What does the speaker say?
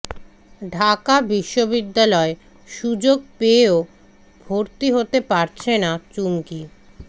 ঢাকা বিশ্ববিদ্যালয়ে সুযোগ পেয়েও ভর্তি হতে পারছে না চুমকি